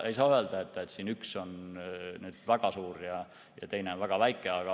Ei saa öelda, et üks on väga suur ja teine on väga väike.